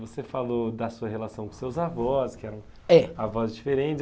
Você falou da sua relação com seus avós, que eram, eh, avós diferentes.